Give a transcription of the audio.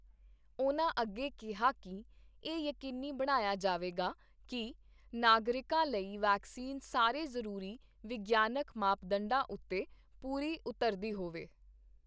ਉਨ੍ਹਾਂ ਅੱਗੇ ਕਿਹਾ ਕਿ ਇਹ ਯਕੀਨੀ ਬਣਾਇਆ ਜਾਵੇਗਾ ਕਿ ਨਾਗਰਿਕਾਂ ਲਈ ਵੈਕਸੀਨ ਸਾਰੇ ਜ਼ਰੂਰੀ ਵਿਗਿਆਨਕ ਮਾਪਦਡਾਂ ਉੱਤੇ ਪੂਰੀ ਉਤਰਦੀ ਹੋਵੇ।